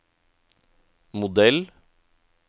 modell